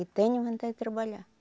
E tenho vontade de trabalhar.